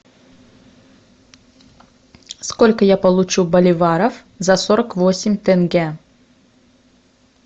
сколько я получу боливаров за сорок восемь тенге